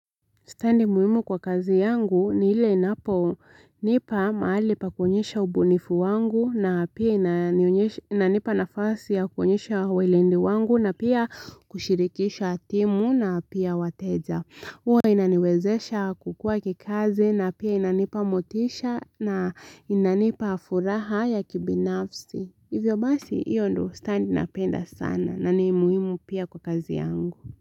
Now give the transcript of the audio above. Standi muhimu kwa kazi yangu ni ile inapo nipa mahali pa kuonyesha ubunifu wangu na pia inanipa nafasi ya kuonyesha uweledi wangu na pia kushirikisha timu na pia wateja. Huwa inaniwezesha kukua kikazi na pia inanipa motisha na inanipa furaha ya kibinafsi. Hivyo basi hiyo ndo standi napenda sana na ni muhimu pia kwa kazi yangu.